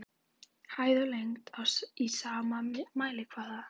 Hæð og lengd í sama mælikvarða.